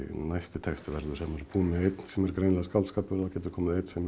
næsti texti verður þegar maður búinn með einn sem er greinilega skáldskapur þá getur komið einn sem er